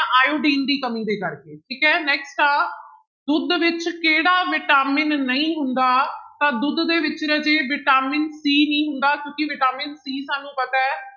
iodine ਦੀ ਕਮੀ ਦੇ ਕਰਕੇ ਠੀਕ ਹੈ next ਆ ਦੁੱਧ ਵਿੱਚ ਕਿਹੜਾ ਵਿਟਾਮਿਨ ਨਹੀਂ ਹੁੰਦਾ, ਤਾਂ ਦੁੱਧ ਦੇ ਵਿੱਚ ਰਾਜੇ ਵਿਟਾਮਿਨ c ਨਹੀਂ ਹੁੰਦਾ ਕਿਉਂਕਿ ਵਿਟਾਮਿਨ c ਸਾਨੂੰ ਪਤਾ ਹੈ